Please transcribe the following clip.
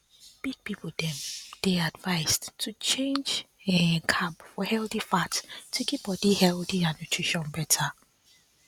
big people dem dey advised to change um carb for healthy fat to keep body healthy and nutrition better